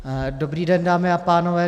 Dobrý den, dámy a pánové.